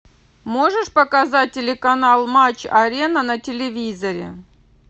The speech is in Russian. можешь показать телеканал матч арена на телевизоре